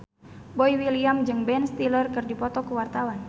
Boy William jeung Ben Stiller keur dipoto ku wartawan